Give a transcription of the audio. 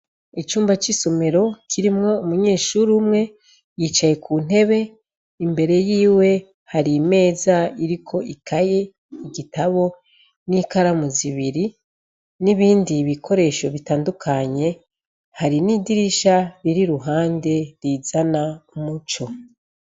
Icumba c'isomero kirimwo umunyeshuri umwe yicaye ku ntebe imbere yiwe hari imeza iriko ikaye igitabo n'ikaramu zibiri n'ibindi ibikoresho bitandukanye hari n'idirisha riri ruhande rizana umuco.